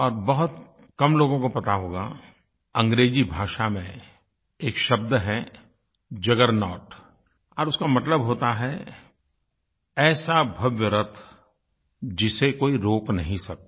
और बहुत कम लोगों को पता होगा अंग्रेज़ी भाषा में एक शब्द है जगरनॉट और उसका मतलब होता है ऐसा भव्य रथ जिसे कोई रोक नहीं सकता